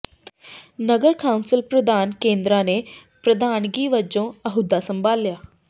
ਨਗਰ council ਪ੍ਰਧਾਨ ਕੁੰਦਰਾ ਨੇ ਪ੍ਰਧਾਨਗੀ ਵਜੋਂ ਅਹੁਦਾ ਸੰਭਾਲਿਆ